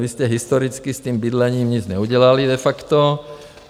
Vy jste historicky s tím bydlením nic neudělali, de facto.